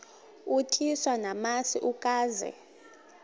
utyiswa namasi ukaze